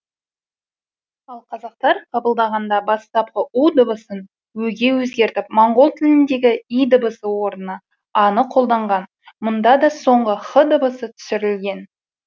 ал қазақтар қабылдағанда бастапқы у дыбысын ө ге өзгертіп моңғол тіліндегі и дыбысы орнына а ны қолданған мұнда да соңғы х дыбысы түсірілген